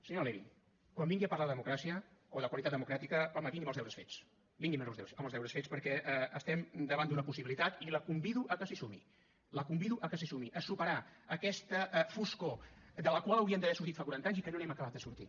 senyora levy quan vingui a parlar de democràcia o de qualitat democràtica home vingui amb els deures fets vingui amb els deures fets perquè estem davant d’una possibilitat i la convido a que s’hi sumi la convido a que s’hi sumi superar aquesta foscor de la qual hauríem d’haver sortit fa quaranta anys i que no n’hem acabat de sortir